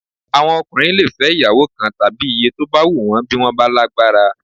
Àwọn ọkùnrin lè fẹ́ ìyàwó kan tàbí iye tó bá wùn wọ́n bí wọ́n bá lágbára